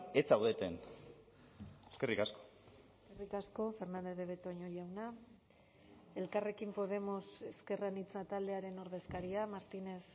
ez zaudeten eskerrik asko eskerrik asko fernández de betoño jauna elkarrekin podemos ezker anitza taldearen ordezkaria martínez